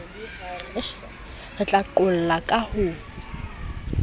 re ka qolla ka ho